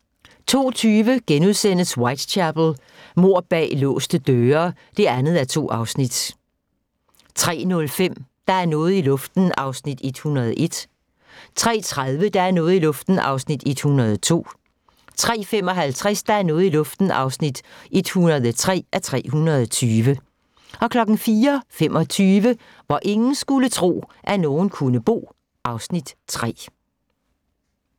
02:20: Whitechapel: Mord bag låste døre (2:2)* 03:05: Der er noget i luften (101:320) 03:30: Der er noget i luften (102:320) 03:55: Der er noget i luften (103:320) 04:25: Hvor ingen skulle tro, at nogen kunne bo (Afs. 3)